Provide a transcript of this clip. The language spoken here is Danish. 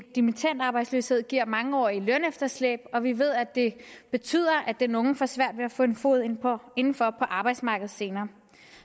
dimittendarbejdsløshed giver mangeårige lønefterslæb og vi ved at det betyder at den unge får svært ved at få en fod indenfor på arbejdsmarkedet senere